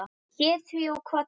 Ég hét því og kvaddi.